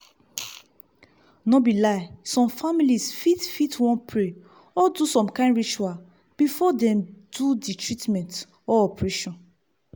no be lie some families fit fit wan pray or do some kind ritual before dem do the treatment or operation.